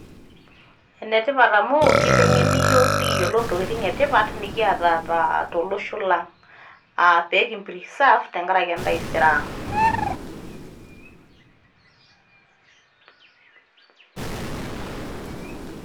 Ene tipat amu keiteng'eni iyiok nekiyiolou entokitin' etipat nikiata tolosho lang' aa peekipreserve tengaraki entaisere ang'.